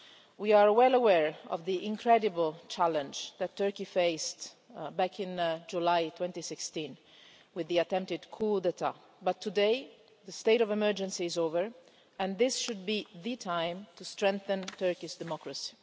We are well aware of the incredible challenge that Turkey faced, back in July 2016, with the attempted coup d'état but today the state of emergency is over and this should be the time to strengthen Turkey's democracy.